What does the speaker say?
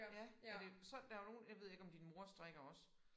Ja men det så der jo nogen jeg ved ikke om din mor strikker også